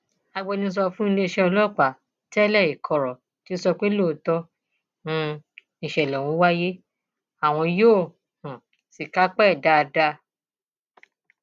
agbẹnusọ fún iléeṣẹ ọlọpàá tẹẹlẹẹ ìkorò ti sọ pé lóòótọ um nìṣẹlẹ ọhún wáyé àwọn yóò um sì kápá ẹ dáadáa